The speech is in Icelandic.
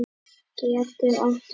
getur átt við